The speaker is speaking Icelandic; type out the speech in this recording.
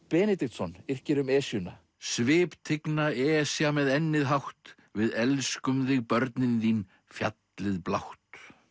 Benediktsson yrkir um Esjuna Esja með ennið hátt við elskum þig börnin þín fjallið blátt